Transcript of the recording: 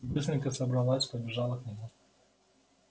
быстренько собралась побежала к нему